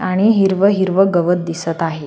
आणि हिरव हिरव गवत दिसत आहे.